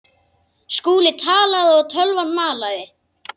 Skúli talaði og tölvan malaði.